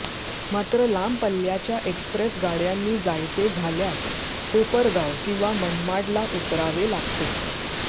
मात्र लांब पल्ल्याच्या एक्स्प्रेस गाडय़ांनी जायचे झाल्यास कोपरगाव किंवा मनमाडला उतरावे लागते